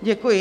Děkuji.